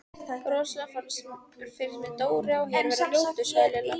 Rosalega finnst mér Dóri á Her vera ljótur sagði Lilla.